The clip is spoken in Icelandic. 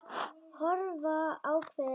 Horfa ákveðin á þær.